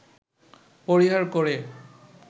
পরিহার করে